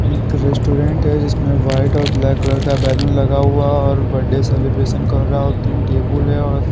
एक रेस्टोरेंट है जिसमें वाइट और ब्लैक कलर का बैगिंग लगा हुआ और बर्थडे सेलिब्रेशन कर रहा है और तीन टेबल है और---